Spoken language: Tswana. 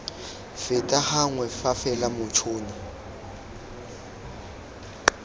feta gangwe fa fela motšhoni